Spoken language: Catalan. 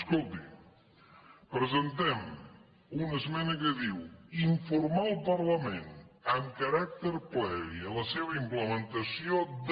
escolti presentem una esmena que diu informar el par lament amb caràcter previ a la seva implementació de